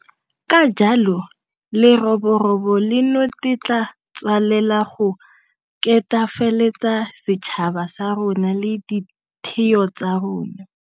Ka jalo leroborobo leno le tla tswelela go ketefaletsa setšhaba sa rona le ditheo tsa rona.